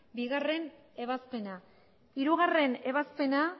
bigarrena ebazpena